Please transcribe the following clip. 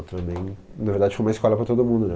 Ultraman, na verdade, foi uma escola para todo mundo, né?